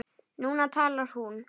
Núna talar hún.